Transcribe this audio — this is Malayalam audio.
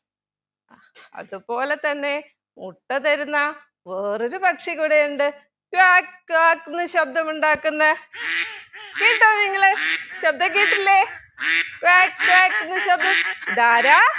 അത് പോലെ തന്നെ മുട്ട തരുന്ന വേറൊരു പക്ഷി കൂടെയുണ്ട് ക്വാക്ക് ക്വാക്ക് എന്ന് ശബ്‌ദമുണ്ടാക്കുന്ന കേട്ടോ നിങ്ങൾ ശബ്‌ദം കേട്ടില്ലെ ക്വാക്ക് ക്വാക്ക് എന്ന് ശബ്‌ദം ഇതാരാ